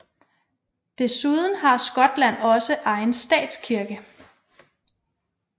Desuden har Skotland også egen statskirke